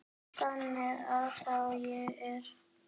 Þannig að þá er ég.